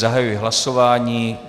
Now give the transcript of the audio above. Zahajuji hlasování.